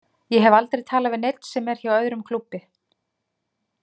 Ég hef aldrei talað við neinn sem er hjá öðrum klúbbi.